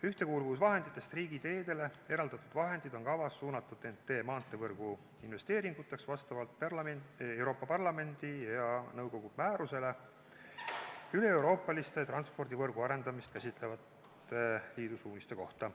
Ühtekuuluvusvahenditest riigiteedele eraldatud vahendid on kavas suunata TEN-T-maanteevõrgu investeeringuteks vastavalt Euroopa Parlamendi ja nõukogu määrusele üleeuroopaliste transpordivõrgu arendamist käsitlevate liidu suuniste kohta.